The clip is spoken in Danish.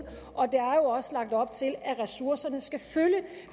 og der er jo også lagt op til at ressourcerne skal følge